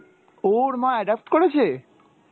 ওর মা adopt করেছে?